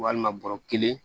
Walima bɔrɔ kelen